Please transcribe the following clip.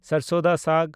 ᱥᱟᱨᱥᱳᱸ ᱫᱟ ᱥᱟᱜᱽ